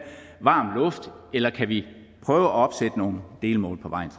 varm luft eller kan vi prøve at opsætte nogle delmål på vejen